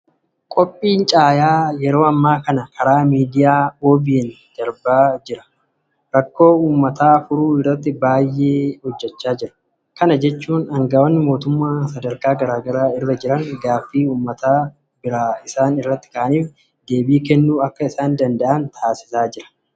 Qophiin caayaa yeroo ammaa kana karaa miidiyaa OBN darbaa jiru rakkoo uummataa furuu irratti baay'ee fayyadaa jira. Kana jechuun aanga'oonni mootummaa sadarkaa garaa garaa irra jiran gaaffii uummata biraa isaan irratti ka'aniif deebii kennuu akka isaan danda'an taasisaa jira.